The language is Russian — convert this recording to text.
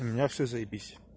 у меня все заебись